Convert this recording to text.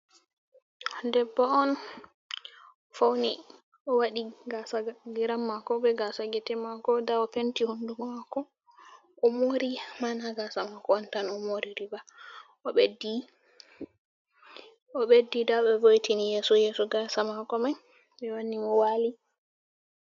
debbo on, fauni o wadi gasa giram mako, be gasa gite mako, nda o penti honduko mako. o mori man gasa mako on tan o mori riba,o ɓeddi da ɓe vo'itini yeso yeso, gasa mako man. be wanni mo wali.